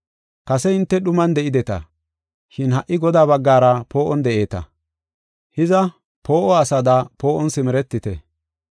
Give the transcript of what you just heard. Kase hinte dhuman de7ideta, shin ha77i Godaa baggara poo7on de7eeta. Hiza, poo7o asada poo7on simeretite.